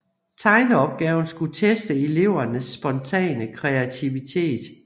Tegne opgaven skulle teste elevernes spontane kreativitet